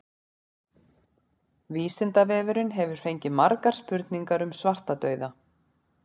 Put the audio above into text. Vísindavefurinn hefur fengið margar spurningar um svartadauða.